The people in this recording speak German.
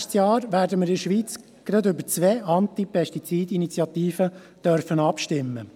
Nächstes Jahr dürfen wir in der Schweiz gleich über zwei Antipestizid-Initiativen abstimmen.